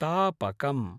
तापकम्